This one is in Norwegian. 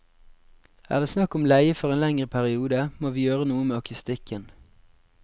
Er det snakk om leie for en lengre periode, må vi gjøre noe med akustikken.